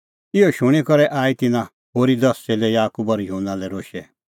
इहअ शूणीं करै आई तिन्नां होरी दस च़ेल्लै याकूब और युहन्ना लै रोशै